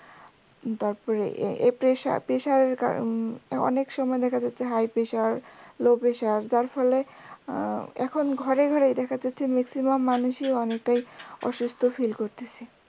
তারপরে এই প্রেসার প্রেসারের কারনে উম অনেক সময় দেখা যাচ্ছে high pressure low pressure যার ফলে এখন ঘরে ঘরে দেখা যাচ্ছে maximum মানুষই অনেকটাই অসুস্থ feel করতেছে।